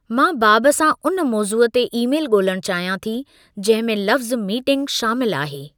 मां बाब सां उन मौज़ूअ ते ईमेल ॻोल्हणु चाहियां थी जंहिं में लफ़्ज़ु मीटिंगु शामिलु आहे।